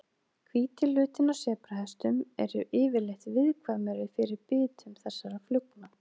Hvíti hlutinn á sebrahestum eru yfirleitt viðkvæmari fyrir bitum þessara flugna.